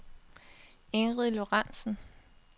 Ingrid Lorentsen